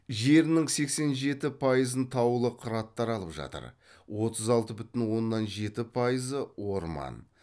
жерінің сексен жеті пайызын таулы қыраттар алып жатыр отыз алты бүтін оннан жеті пайызы орман